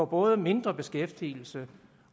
både mindre beskæftigelse